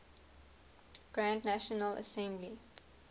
grand national assembly